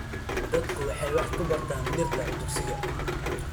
Dadku waxay wax ku bartaan dhirta dugsiga.